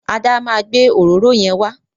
Ada ma gbé òróró yẹn wa.